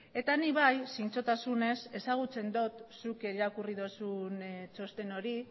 eta nik bai zintzotasunez ezagutzen dut zuk irakurri duzun txosten hori